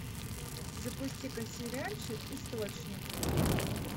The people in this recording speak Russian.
запусти ка сериальчик источник